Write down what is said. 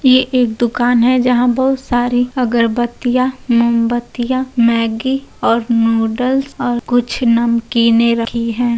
ये एक दुकान है जहाँ बहुत सारी अगरबत्तियां मोमबत्तियां मैगी और नूडल्स और कुछ नमकीनें रखी हैं।